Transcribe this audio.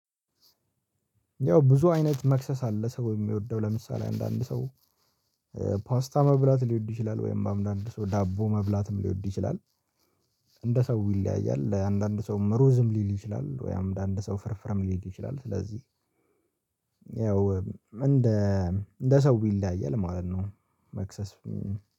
ያው ብዙ አይነት መክሰስ አለ ሰው የሚወደው ለምሳሌ አንዳንድ ሰው ፖስታ መብላት ሊወድ ይችላል ወይም በአንዳንድ ሰው ዳቦ መብላትም ሊወድ ይችላል። እንደ ሰው ይለያያል ለአንዳንድ ሰው ሩዝም ሊል ይችላል ወይም አንድ ሰው ፍርፍርም ሊል ይችላል ስለዚህ ያው እንደ ሰው ይለያያል ማለት ነው። መክሰስ